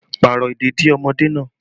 Pààrọ̀ ìdèdí ọmọdé náà!